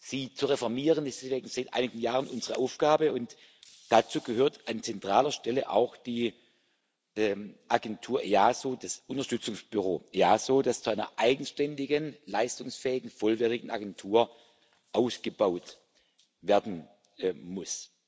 Sie zu reformieren, ist deswegen seit einigen Jahren unsere Aufgabe, und dazu gehört an zentraler Stelle auch die Agentur EASO, das Unterstützungsbüro EASO, das zu einer eigenständigen, leistungsfähigen, vollwertigen Agentur ausgebaut werden muss.